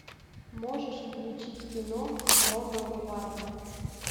можешь включить кино ронал варвар